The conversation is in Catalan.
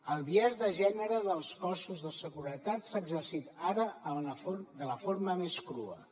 el biaix de gènere dels cossos de seguretat s’ha exercit ara de la forma més crua